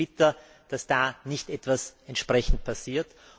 Es ist bitter, dass da nicht etwas entsprechend passiert.